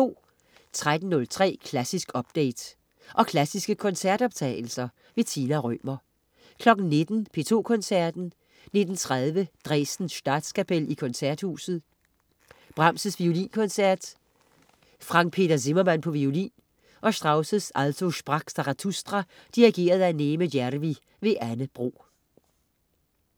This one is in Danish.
13.03 Klassisk update. Og klassiske koncertoptagelser. Tina Rømer 19.00 P2 Koncerten. 19.30 Dresden Statskapel i Koncerthuset. Brahms: Violinkoncert. Frank Peter Zimmermann, violin. Strauss: Also sprach Zarathustra. Dirigent: Neeme Järvi. Anne Bro